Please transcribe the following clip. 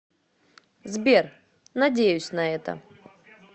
сбер надеюсь на это